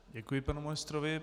Děkuji panu ministrovi.